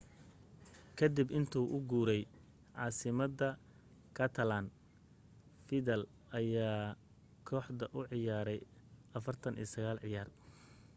ka dib intuu u guuray caasimadda catalan vidal ayaa kooxda u ciyaaray 49 ciyaar